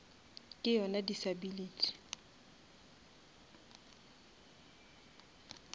ke yona disability